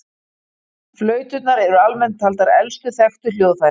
Flauturnar eru almennt taldar elstu þekktu hljóðfærin.